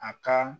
A ka